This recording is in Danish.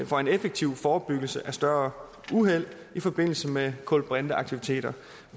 for en effektiv forebyggelse af større uheld i forbindelse med kulbrinteaktiviteter